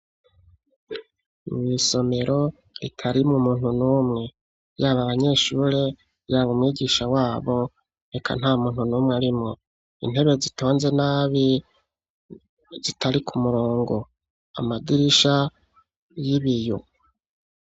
Isomero ritarimwo umuntu numwe yaba abanyeshure yaba umwigisha wabo, eka nta muntu numwe arimwo, intebe zitonze nabi izitari ku murongo amadirisha y'ibiyo.